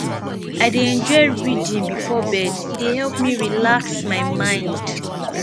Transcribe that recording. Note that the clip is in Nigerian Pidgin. i dey enjoy reading before bed e dey help me relax my mind